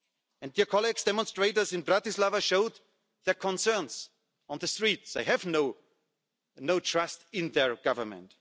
And, colleagues, demonstrators in Bratislava have showed their concerns on the streets, they have no trust in their Government.